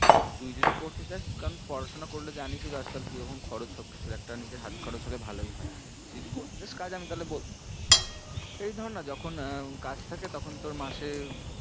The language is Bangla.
তো তুই যদি করতে চাস কারণ পড়াশোনা করলে জানিসই তো আজকাল কি রকম খরচ সব কিছুর একটা নিজের হাত খরচ হলে ভালোই হয়ে, তুই যদি করতে চাস কাজ তাহলে আমি বল~ তুই ধরনা যখন আহ কাজ থাকে তখন তোর মাসে